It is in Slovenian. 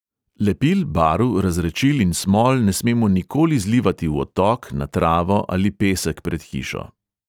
Lepil, barv, razredčil in smol ne smemo nikoli zlivati v odtok, na travo ali pesek pred hišo.